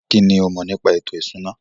Kínní o mọ̀ nípa ètò ìṣúná?